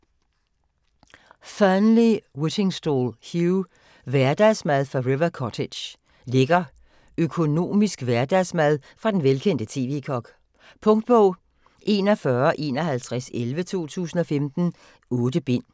Fearnley-Whittingstall, Hugh: Hverdagsmad fra River Cottage Lækker økonomisk hverdagsmad fra den velkendte TV-kok. Punktbog 415111 2015. 8 bind.